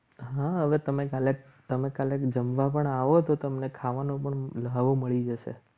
હા હવે તમે કાલે તમે કાલે જમવા પણ આવો તો તમને ખાવાનું મળી જશે.